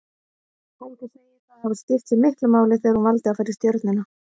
Helga segir það hafa skipt sig miklu máli þegar hún valdi að fara í Stjörnuna.